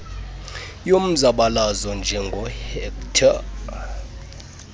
yomzabalazo njengoo hector